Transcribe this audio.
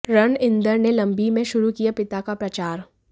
रणइंदर ने लम्बी में शुरु किया पिता का प्रचार